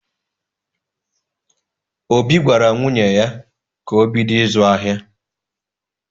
Obi gwara nwunye ya ka o bido ịzụ ahịa.